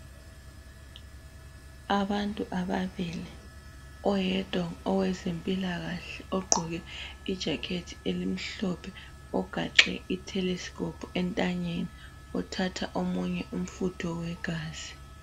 Abantu ababili, oyedwa owezempilakahle ogqoke ijakhethi elimhlophe ogaxe itelescope entanyeni. Uthatha omunye umfutho wegazi.